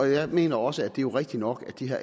jeg mener også at det er rigtigt nok at de her